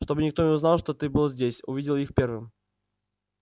чтобы никто не узнал что ты был здесь увидел их первым